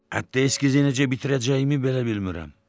Hətta eskizi necə bitirəcəyimi belə bilmirəm.